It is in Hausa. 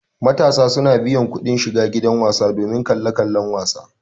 Matasa suna biyan kudin shiga gidan wasa domin kallan kala-kalan wasa